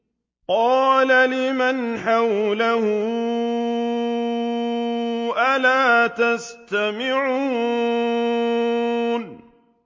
قَالَ لِمَنْ حَوْلَهُ أَلَا تَسْتَمِعُونَ